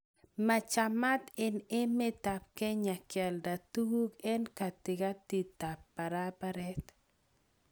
Machamat eng emet ab kenya kealda tukuk eng katikatitab barabaret